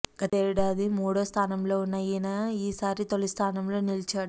గతేడాది మూడో స్థానంలో ఉన్న ఈయన ఈ సారి తొలి స్థానంలో నిలిచాడు